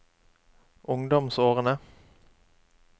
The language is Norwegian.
ungdomsårene